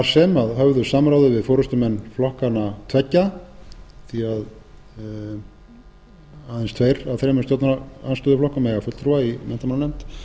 sem að höfðu samráði við forustumenn flokkanna tveggja því að aðeins tveir af þeim úr stjórnarandstöðuflokkunum eiga fulltrúa í menntamálanefnd